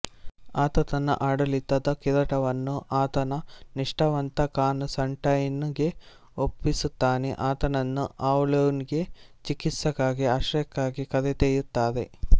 ಆತ ತನ್ನ ಆಡಳಿತದ ಕಿರೀಟವನ್ನು ಆತನ ನಿಷ್ಟಾವಂತ ಕಾನ್ ಸ್ಟಂಟೈನ್ ಗೆ ಒಪ್ಪಿಸುತ್ತಾನೆಆತನನ್ನು ಆವ್ಲೊನ್ ಗೆ ಚಿಕಿತ್ಸೆಗಾಗಿ ಆಶ್ರಯಕ್ಕಾಗಿ ಕರೆದೊಯ್ಯುತ್ತಾರೆ